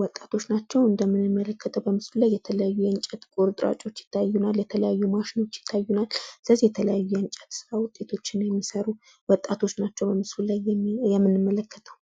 ወጣቶች ናቸው። እንደምንመለከተው በምስሉ ላይ የተለያዩ የእንጨት ቁርጥራጮች ይታዩናል። የተለያዩ ማሽኖች ይታዩናል ስለዚህ የተለያየ እንጨት ስራ ውጤቶችን የሚሰሩ ወጣቶች ናቸው በምስሉ ላይ የምንመለከተው።